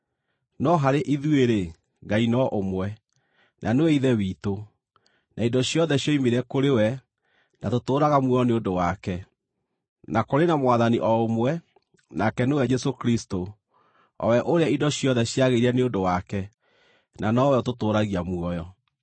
no harĩ ithuĩ-rĩ, Ngai no ũmwe, na nĩwe Ithe witũ, na indo ciothe cioimire kũrĩ we na tũtũũraga muoyo nĩ ũndũ wake; na kũrĩ na Mwathani o ũmwe, nake nĩwe Jesũ Kristũ, o we ũrĩa indo ciothe ciagĩire nĩ ũndũ wake, na nowe ũtũtũũragia muoyo.